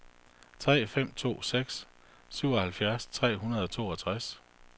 tre fem to seks syvoghalvtreds tre hundrede og toogtres